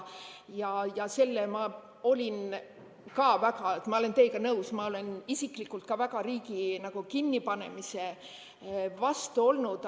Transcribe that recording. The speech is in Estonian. Ma olen teiega nõus, ma olen isiklikult ka riigi kinnipanemise vastu olnud.